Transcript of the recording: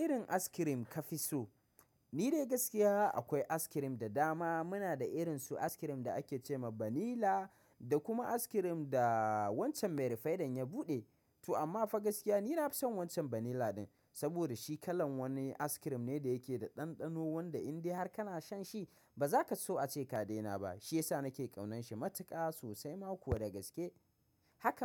Irrin askirim ka fi so? Ni dai gaskiya akwai askirim da dama. Muna da irinsu askirim da ake ce ma banila da kuma askirim da wancan mai rifaidan ya buɗe. To amma fa gaskiya ni na fi son wancan banila ɗin. Saboda shi kalan wani askirim ne da yake da ɗanɗano wanda in dai har kana shan shi ba za ka so ace ka daina ba. Shi yasa nake ƙaunan shi matuƙa sosai ma ko da gaske. Haka.